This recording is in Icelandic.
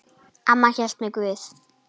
Amma hélt með Guði.